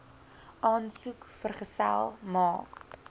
aansoek vergesel maak